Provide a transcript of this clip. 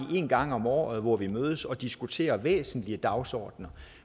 en gang om året hvor vi mødes og diskuterer væsentlige dagsordener